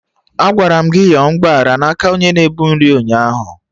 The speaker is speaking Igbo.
Agwara m gị yọọ mgbaghara na aka onye na-ebu nri ụnyaahụ!